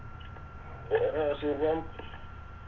വേറെ സുഖം